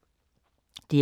DR K